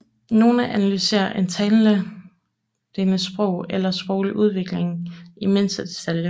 Nogle analyserer en talendes sprog eller sproglige udvikling i mindste detalje